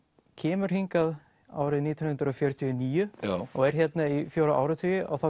kemur hingað árið nítján hundruð fjörutíu og níu og er hérna í fjóra áratugi og þá